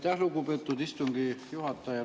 Aitäh, lugupeetud istungi juhataja!